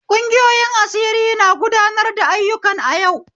Kungiyoyin asiri na gudanar da ayyukan a yau.